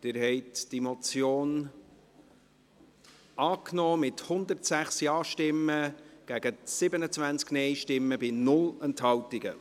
Sie haben die Motion angenommen, mit 106 Ja- gegen 27 Nein-Stimmen bei 0 Enthaltungen.